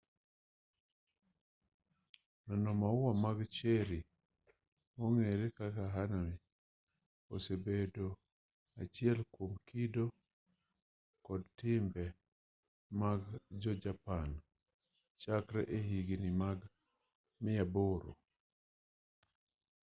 neno maua mag cherry mong'ere kaka hanami osebedo achiel kwom kido kod timbe mag jo japan chakre e higni mag 800